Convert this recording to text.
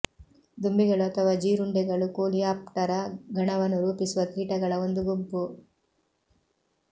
ದುಂಬಿಗಳು ಅಥವಾ ಜೀರುಂಡೆಗಳು ಕೋಲಿಯಾಪ್ಟರ ಗಣವನ್ನು ರೂಪಿಸುವ ಕೀಟಗಳ ಒಂದು ಗುಂಪು